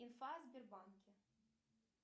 инфа о сбербанке